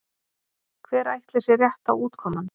Hver ætli sé rétta útkoman?